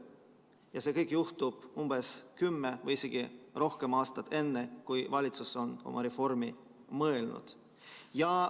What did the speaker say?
Ja see kõik juhtub umbes kümme või isegi rohkem aastat enne, kui valitsus on oma reformi mõelnud.